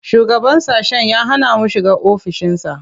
Shugaban sashen ya hana mu shiga ofishinsa.